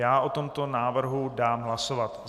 Já o tomto návrhu dám hlasovat.